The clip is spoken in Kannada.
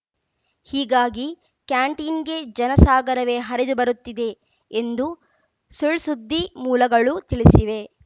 ಹೀಗಾಗಿ ಕ್ಯಾಂಟೀನ್‌ಗೆ ಜನಸಾಗರವೇ ಹರಿದುಬರುತ್ತಿದೆ ಎಂದು ಸುಳ್‌ಸುದ್ದಿ ಮೂಲಗಳು ತಿಳಿಸಿವೆ